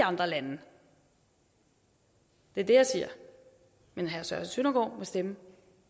andre lande det er det jeg siger men herre søren søndergaard må stemme